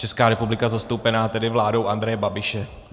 Česká republika zastoupená tedy vládou Andreje Babiše.